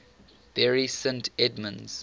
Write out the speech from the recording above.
bury st edmunds